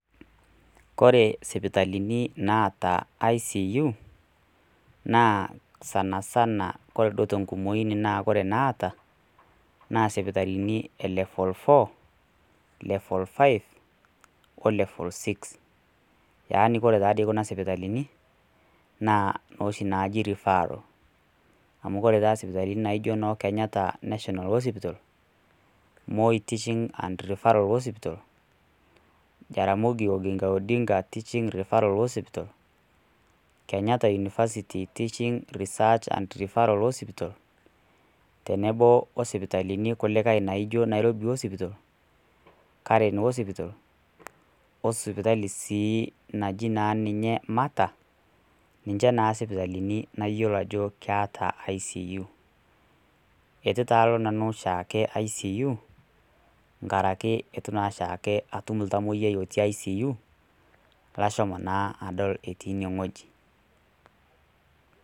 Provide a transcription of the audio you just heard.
Kore isipitalini naata ICU, naa sanisana kore duo te enkumoi naa kore inaata, naa isipitalini e level four, level five,o level six. Yaani kore taa dei kuna sipitalini, naa nooshi naaji referal, amu kore taa isipitalini naijo noo Kenyatta National Hospital, Moi Teaching and Referal Hospital, Jaramongi Odinga Oginga Teaching and Referal Hospital, Kenyatta university Teaching ,Reseach and Teaching Hospital, tenebo o sipitalini kulikai naijo Nairobi Hospital, Caren Hospital, o sipitali sii najii naa ninya Mater, ninche naa isipitalini nayiolo ajo keata ICU. Keitu taa oshiake nanu alo ICU nkaraki eitu naa atum oltamwoiyiai otii ICU, lashomo naa adol ine wueji.